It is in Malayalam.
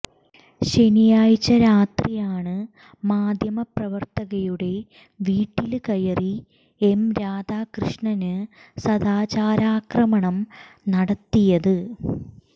ശനിയാഴ്ച രാത്രിയാണ് മാധ്യമപ്രവര്ത്തകയുടെ വീട്ടില് കയറി എം രധാകൃഷ്ണന് സദാചാരാക്രമണം നടത്തിയത്